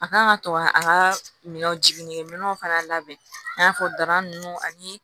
A kan ka to ka a ka minɛnw jiginɛw fana labɛn i n'a fɔ dara nunnu ani